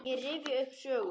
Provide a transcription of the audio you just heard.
Ég rifja upp sögur.